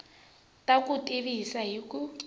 ta ku tivisa hi ku